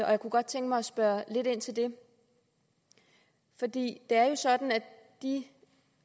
og jeg kunne godt tænke mig at spørge lidt ind til det for det er jo sådan at de